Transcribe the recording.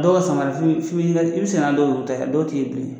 Dɔw ka samara f'i bi f'i bi yira i bi sena n'a dɔw yuru taw ye a dɔw t'i ye bilen yɛrɛ